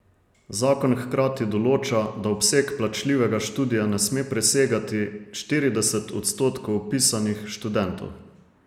Zakon hkrati določa, da obseg plačljivega študija ne sme presegati štirideset odstotkov vpisanih študentov.